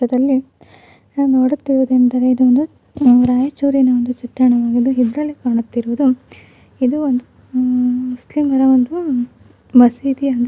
ಇದರಲ್ಲಿ ನಾವು ನೋಡುತ್ತಿರುದೆಂದ್ರೆ ಇದು ಒಂದು ರಾಯಚೂರಿನ ಒಂದು ಚಿತ್ರಣವಾಗಿದ್ದು ಇದರಲ್ಲಿ ಕಾಣುತ್ತಿರುವುದು ಇದು ಒಂದು ಮ್ಮ್ ಮುಸ್ಲಿಮರ ಒಂದು ಮಸೀದಿ ಅಂತ--